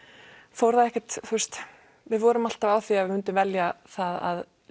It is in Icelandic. fór það ekkert við vorum alltaf á því að við myndum velja það að